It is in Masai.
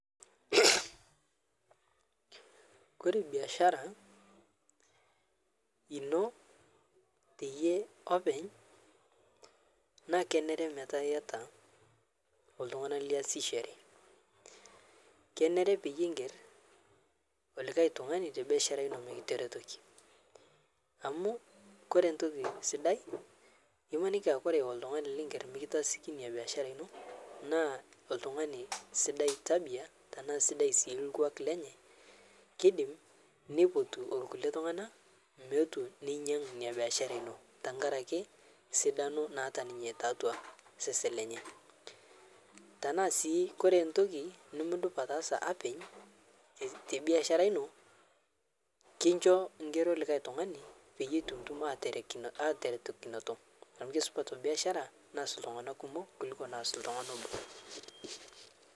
Kore biashara enoo teiyee opeeny' naa keneree metaa eiyata oltung'ani liasishoree. Keneree peiyee ing'eer olikai ltung'ani te biashara enoo mikiteretokii, amu kore ntokii sidai emakinii aa kore oltung'ani liing'eer mikitaasiki enia biashara enoo naa oltung'ani sidai tabia tana sidai sii ilkwuak lenyee. Keidiim neipotunuu onkulee ltung'ana meotuu ninyang'aa enia biashara enoo tang'araki sidaano naata ninyee ta atua sesen lenyee. Tana sii kore ntokii nimuduup ataasa opeeny' te biashara enoo kinchoo ng'eroo likai ltung'ana peiye etutum aiterekinoto amu kesupat biashara naas ltung'ana kumook kuliko ltung'ani oboo.